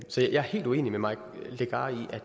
så jeg er helt uenig med mike legarth i at